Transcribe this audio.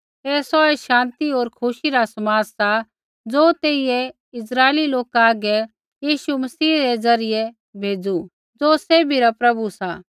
ऐ सौहै शान्ति होर खुशी रा समाद सा ज़ो तेइयै इस्राइली लोका हागै यीशु मसीह रै द्वारा भेज़ू ज़ो सैभी रा प्रभु सा